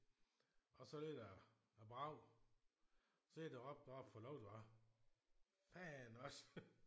Og så lød der et brag. Så er det råbt oppe fra loftet af faen også